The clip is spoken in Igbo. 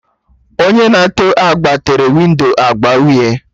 Onye na-ete agba tere windo agba uhie